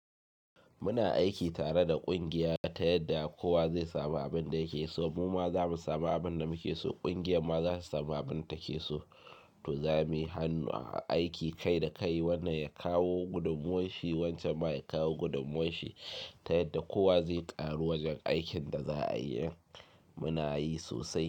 Muna aiki tare da ƙungiya ta yadda kowa zai samu abin da yake so. Mu ma za mu samu abin da muke so, ƙungiyar ma zasu samu abin take so. To za muyi hannu a aiki kai da kai, wannan ya kawo gudummawarshi, wancan ma ya kawo gudummawarshi ta yadda kowa zai ƙaru wajen aikin da za, ayi. Muna yi sosai.